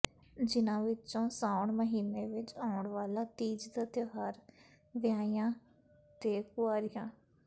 ਜਿਨ੍ਹਾਂ ਵਿੱਚੋ ਸਾਉਣ ਮਹੀਨੇ ਵਿਚ ਆਉਣ ਵਾਲਾ ਤੀਜ ਦਾ ਤਿਉਹਾਰ ਵਿਆਹੀਆਂ ਤੇ ਕੁਆਰੀਆਂ